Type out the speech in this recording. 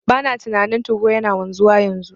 Bana tunanin 2go yana wanzuwa yanzu,